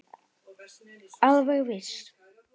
Alveg viss.